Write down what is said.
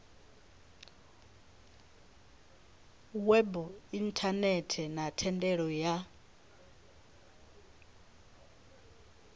web inthanethe na thendela ya